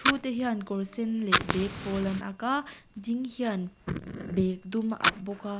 thu te hian kawr sen leh bag pâwl an ak a ding hian bag dum a ak bawk a.